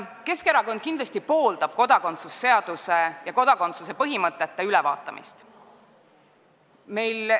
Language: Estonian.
Keskerakond pooldab kodakondsuse seaduse ja kodakondsuse põhimõtete ülevaatamist.